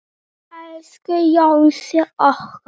Elsku Jónsi okkar.